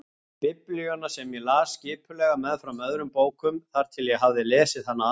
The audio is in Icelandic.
Biblíuna sem ég las skipulega meðfram öðrum bókum þar til ég hafði lesið hana alla.